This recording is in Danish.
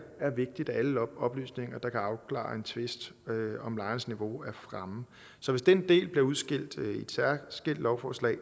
vigtigt at alle oplysninger der kan afklare en tvist om lejens niveau er fremme så hvis den del bliver udskilt i et særskilt lovforslag